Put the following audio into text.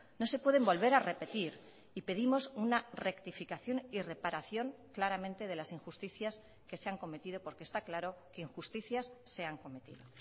no se pueden volver a repetir y pedimos una rectificación y reparación claramente de las injusticias que se han cometido porque está claro que injusticias se han cometido